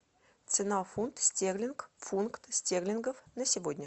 цена фунт стерлинг фунт стерлингов на сегодня